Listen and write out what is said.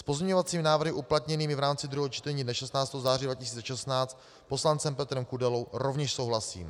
S pozměňovacími návrhy uplatněnými v rámci druhého čtení dne 16. září 2016 poslancem Petrem Kudelou rovněž souhlasím.